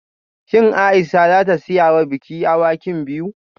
Shin Aisha za ta siya wa biki awakin biyu?